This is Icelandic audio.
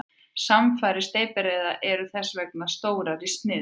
Samfarir steypireyða eru þess vegna stórar í sniðum.